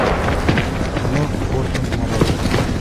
кино хортон нарой